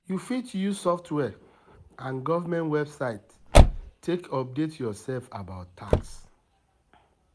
You fit use software and goverment website take update yourself about tax